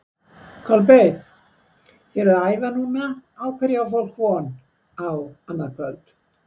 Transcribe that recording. Kolbeinn, þið eruð að æfa núna, á hverju á fólk von á annað kvöld?